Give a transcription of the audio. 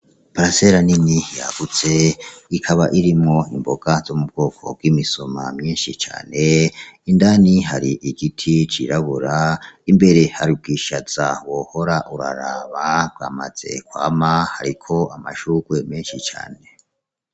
Iparasera nini yagutse , ikaba irimwo imboga zo mubwoko bw'imisoma myinshi cane , indani hari igiti c'irabura imbere hari ubwishaza wohora uraraba bwamaze kwama hariko amashurwe menshi cane .